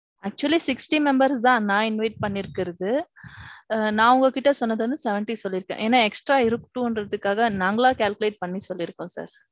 actually sixty members தான் நான் invite பண்ணிருக்கிறது. நான் உங்க கிட்ட சொன்னது வந்து seventy சொல்லிட்டேன். ஏனா extra இருக்கட்டுங்கிறதுக்காக நாங்களா calculate பண்ணி சொல்லிருக்கோம் sir.